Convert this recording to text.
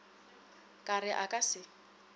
ka re a ka se